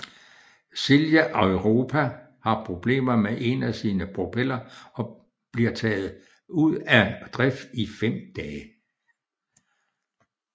Silja Europa har problemer med en af sine propeller og bliver tage ud af drift i fem dage